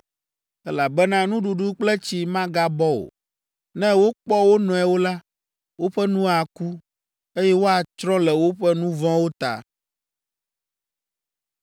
elabena nuɖuɖu kple tsi magabɔ o. Ne wokpɔ wo nɔewo la, woƒe nu aku, eye woatsrɔ̃ le woƒe nu vɔ̃wo ta.”